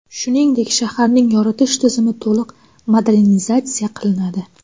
Shuningdek, shaharning yoritish tizimi to‘liq modernizatsiya qilinadi.